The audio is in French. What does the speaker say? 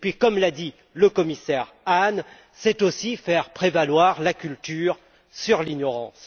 Puis, comme l'a dit le commissaire Hahn, c'est aussi de faire prévaloir la culture sur l'ignorance.